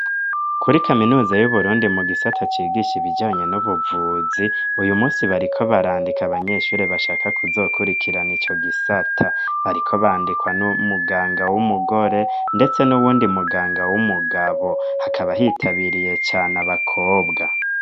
Kuri kaminuza y'uburundi mu gisata cigisha ibijanye n'ubuvuzi uyu munsi bariko barandika abanyeshuri bashaka kuzokurikirana ico gisata bariko bandikwa n'umuganga w'umugore ndetse nuwundi muganga w'umugabo hakaba hitabiriye cane abakobwa.